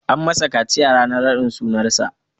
An masa kaciya ranar raɗin sunan sa.